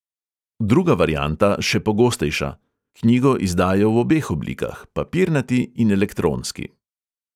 Druga varianta, še pogostejša: knjigo izdajo v obeh oblikah, papirnati in elektronski.